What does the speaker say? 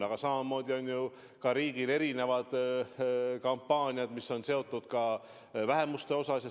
Aga samamoodi on ju ka riigil erinevad kampaaniad, mis on seotud vähemuste kaitsega.